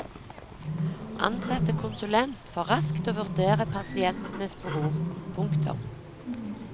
Ansette konsulent for raskt å vurdere pasientenes behov. punktum